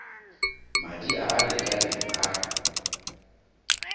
madi a a lekaneng a